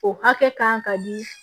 O hakɛ kan ka di